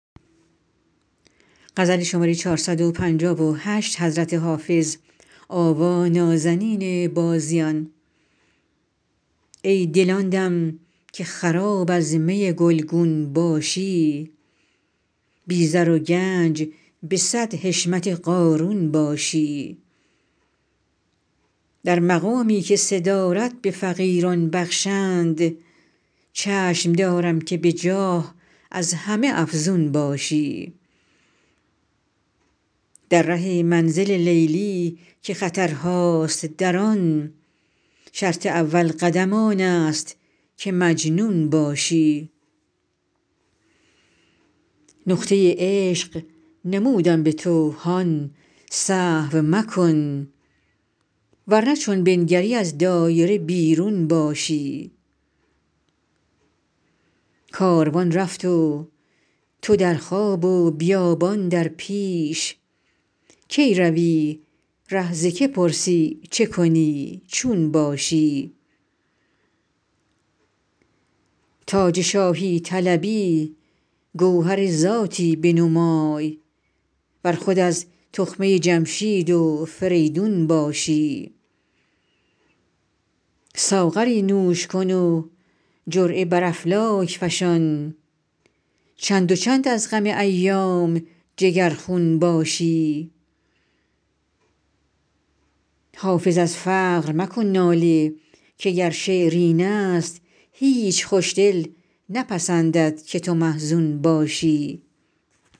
ای دل آن دم که خراب از می گلگون باشی بی زر و گنج به صد حشمت قارون باشی در مقامی که صدارت به فقیران بخشند چشم دارم که به جاه از همه افزون باشی در ره منزل لیلی که خطرهاست در آن شرط اول قدم آن است که مجنون باشی نقطه عشق نمودم به تو هان سهو مکن ور نه چون بنگری از دایره بیرون باشی کاروان رفت و تو در خواب و بیابان در پیش کی روی ره ز که پرسی چه کنی چون باشی تاج شاهی طلبی گوهر ذاتی بنمای ور خود از تخمه جمشید و فریدون باشی ساغری نوش کن و جرعه بر افلاک فشان چند و چند از غم ایام جگرخون باشی حافظ از فقر مکن ناله که گر شعر این است هیچ خوش دل نپسندد که تو محزون باشی